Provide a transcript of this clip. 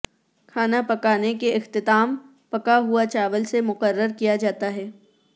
کھانا پکانے کے اختتام پکا ہوا چاول سے مقرر کیا جاتا ہے